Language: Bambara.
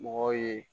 Mɔgɔw ye